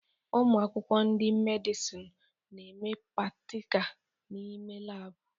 Ụmụ akwụkwọ ndị Medịsinu na-eme pastika n'ime laabụ